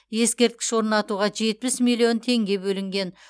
ескерткіш орнатуға жетпіс миллион теңге бөлінген